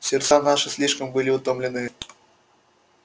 сердца наши слишком были утомлены